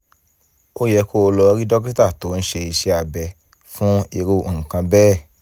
ó yẹ kó o lọ rí dókítà tó ń ṣe iṣẹ́ abẹ fún irú nǹkan bẹ́ẹ̀